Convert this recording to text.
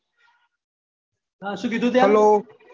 હા શું કીધું ત્યાં